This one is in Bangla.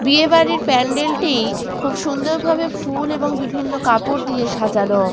বিয়ে বাড়ির প্যান্ডেল -টি খুব সুন্দর ভাবে ফুল এবং বিভিন্ন কাপড় দিয়ে সাজানো।